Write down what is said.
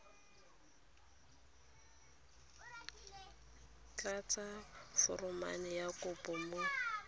tlatsa foromo ya kopo mo